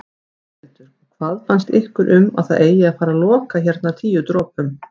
Þórhildur: Og hvað finnst ykkur um að það eigi að fara loka hérna Tíu dropum?